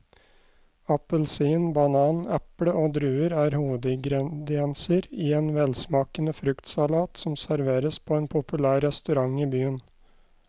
Appelsin, banan, eple og druer er hovedingredienser i en velsmakende fruktsalat som serveres på en populær restaurant i byen.